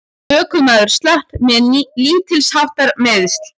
Ökumaður slapp með lítilsháttar meiðsl